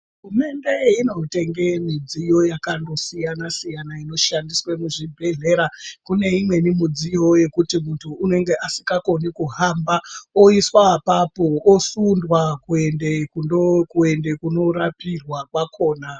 Hurumende inongotenga midziyo yakandosiyana siyano inoshandiswa muzvibhedhlera kune imweni midziyo inoti kuti kune asingakoni kuhamba oiswa apapo osundwa kuenda kunorapirwa kwakona.